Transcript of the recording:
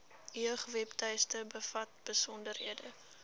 jeugwebtuiste bevat besonderhede